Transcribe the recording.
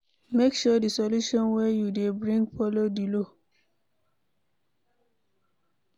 Make sure di solution wey you dey brign follow di law